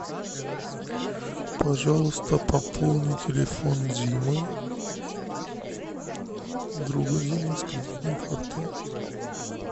пожалуйста пополни телефон димы друга димы с кредитной карты